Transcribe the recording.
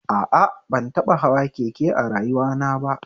A a, ban taɓa hawa keke a rayuwana ba